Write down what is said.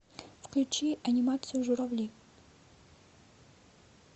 включи анимацию журавли